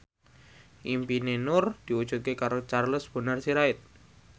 impine Nur diwujudke karo Charles Bonar Sirait